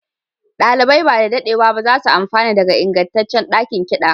ɗalibai ba da daɗewa ba za su amfana daga ingantaccen ɗakin kiɗa